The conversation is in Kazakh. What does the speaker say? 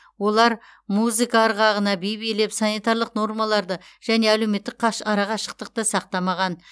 олар музыка ырғағына би билеп санитарлық нормаларды және әлеуметтік арақашықтықты сақтамаған